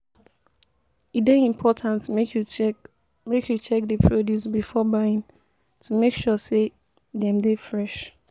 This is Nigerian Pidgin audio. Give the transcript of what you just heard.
E dey important make you check make you check di produce before buying, to make sure say dem dey fresh.